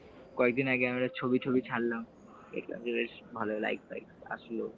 , কয়েক দিন আগে আমি একটা ছবি টবি ছাড়লাম একটাতে বেশ ভালো like পাইক আসলো,